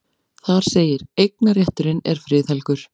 Þar segir: Eignarrétturinn er friðhelgur.